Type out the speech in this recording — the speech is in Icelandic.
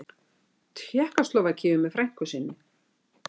Tékkóslóvakíu með frænku sinni.